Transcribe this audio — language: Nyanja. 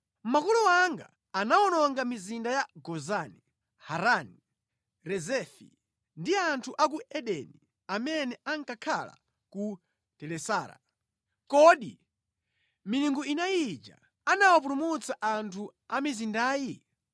Makolo anga anawononga mizinda ya Gozani, Harani, Rezefi ndi anthu a ku Edeni amene ankakhala ku Telasara. Kodi milungu inayi ija anawapulumutsa anthu a mizindayi?